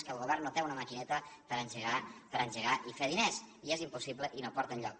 que el govern no té una maquineta per engegar i fer diners i és impossible i no porta enlloc